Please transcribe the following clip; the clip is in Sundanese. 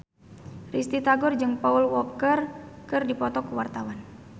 Risty Tagor jeung Paul Walker keur dipoto ku wartawan